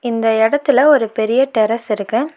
இந்த எடத்துல ஒரு பெரிய டெரஸ் இருக்கு.